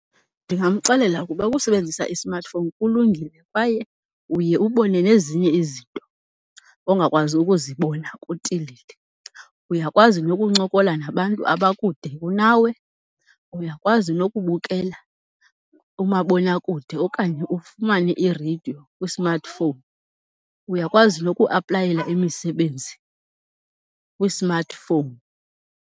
Ndingamxelela ukuba ukusebenzisa i-smartphone kulungile kwaye uye ubone nezinye izinto ongakwazi ukuzibona kutilili. Uyakwazi nokuncokola nabantu abakude kunawe, uyakwazi nokubukela umabonakude okanye ufumane ireyidiyo kwi-smartphone, uyakwazi nokuaplayela imisebenzi kwi-smartphone.